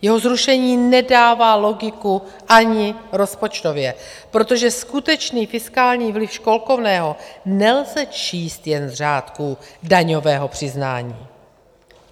Jeho zrušení nedává logiku ani rozpočtově, protože skutečný fiskální vliv školkovného nelze číst jen z řádků daňového přiznání.